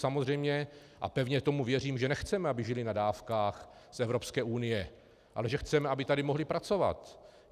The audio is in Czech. Samozřejmě, a pevně tomu věřím, že nechceme, aby žili na dávkách z Evropské unie, ale že chceme, aby tady mohli pracovat.